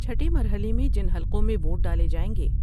چھٹے مرحلے میں جن حلقوں میں ووٹ ڈالے جائیں گے ۔